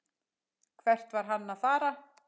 Hvert var hann að fara?